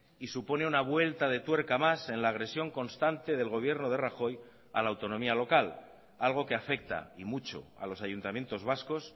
y supone una vuelta de tuerca más en la agresión constante del gobierno de rajoy a la autonomía local algo que afecta y mucho a los ayuntamientos vascos